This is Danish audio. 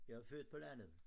Jeg er født på landet